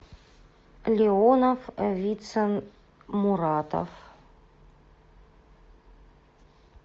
леонов вицин муратов